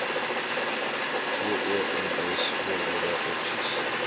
gems voordele opsies